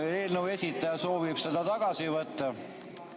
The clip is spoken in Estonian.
Kas eelnõu esitaja soovib selle eelnõu tagasi võtta?